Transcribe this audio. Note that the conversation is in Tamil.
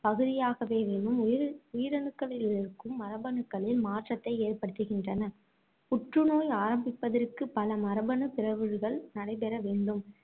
பகுதியாகவேவேனும், உயிர~ உயிரணுக்களிலிருக்கும் மரபணுக்களில் மாற்றத்தை ஏற்படுத்துகின்றன. புற்று நோய் ஆரம்பிப்பதற்கு பல மரபணுப் பிறழ்வுகள் நடைபெற வேண்டும்.